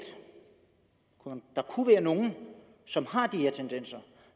kunne være nogle som har de her tendenser og